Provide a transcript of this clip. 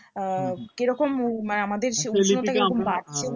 আহ কেরকম মানে আমাদের বাড়ছে না